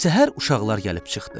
Səhər uşaqlar gəlib çıxdı.